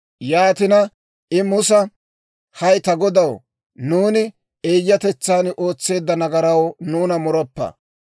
Yaatina I Musa, «Hay ta godaw, nuuni eeyyatetsan ootseedda nagaraw nuuna muroppa.